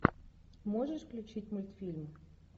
можешь включить мультфильм